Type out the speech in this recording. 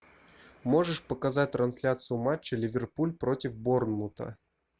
можешь показать трансляцию матча ливерпуль против борнмута